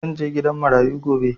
Zan je gidan marayu gobe.